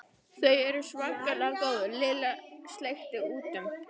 Þau eru svakalega góð Lilla sleikti út um.